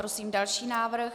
Prosím další návrh.